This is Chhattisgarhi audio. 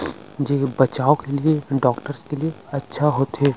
जे बचाव के लिए डॉक्टर्स के लिये अच्छा होथे ।